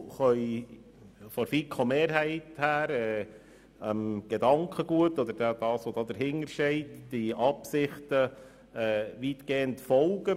Die FiKo-Mehrheit kann der dahinterstehenden Absicht weitgehend folgen.